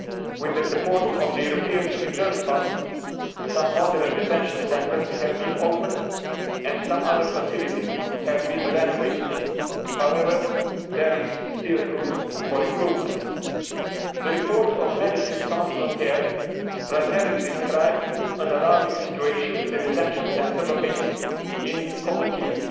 With the support of the European Return Fund, some modern detention centres have been opened and some other facilities have been renovated. However, there is still room for improvement. The report by Médecins Sans Frontières primarily described an alarming situation in the detention centre located in Komotini.